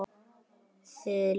Hersir: Þið líka?